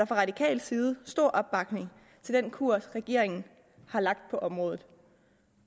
fra radikal side stor opbakning til den kurs regeringen har lagt på området